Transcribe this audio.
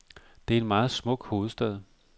Det er en meget smuk hovedstad.